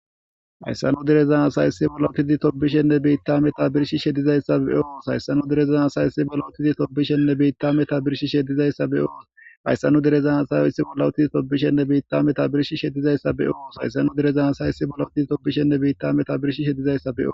Hayssa nu dereza asay issipe bolla uttidi tobishenne biita meta birshishe dizayssa be'os hayssa nu dere asay issi bolla uttidi tobbishenne biita metuwa meta birshishe be'os hayssa nu dereza asay issi bolla utti tobishenne biita meta birshishe dizayssa be'os hayssa nu dere asay issi bolla utti tobbishenne biita meta birshishe dizayssa be'os.